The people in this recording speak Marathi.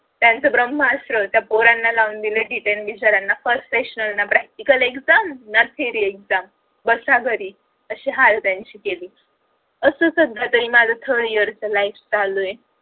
ब्रम्हसत्र त्या पोरणा लावून दिलय detend बिचाऱ्यांना first seasonal practical exam ना theory exam बस घरी असे हाल त्यांचे केले आस सध्या तरी माझं third year च life चालू आहे